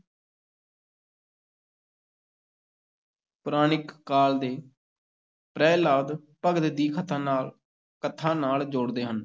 ਪੁਰਾਣਿਕ ਕਾਲ ਦੇ ਪ੍ਰਹਿਲਾਦ ਭਗਤ ਦੀ ਕਥਾ ਨਾਲ ਕਥਾ ਨਾਲ ਜੋੜਦੇ ਹਨ।